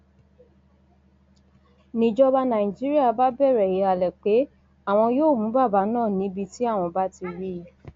nijọba nàìjíríà bá bẹrẹ ìhàlẹ pé àwọn yóò mú bàbá náà níbi tí àwọn bá ti rí i